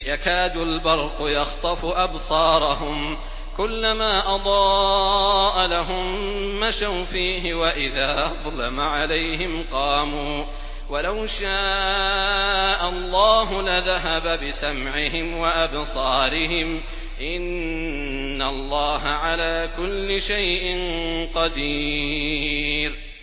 يَكَادُ الْبَرْقُ يَخْطَفُ أَبْصَارَهُمْ ۖ كُلَّمَا أَضَاءَ لَهُم مَّشَوْا فِيهِ وَإِذَا أَظْلَمَ عَلَيْهِمْ قَامُوا ۚ وَلَوْ شَاءَ اللَّهُ لَذَهَبَ بِسَمْعِهِمْ وَأَبْصَارِهِمْ ۚ إِنَّ اللَّهَ عَلَىٰ كُلِّ شَيْءٍ قَدِيرٌ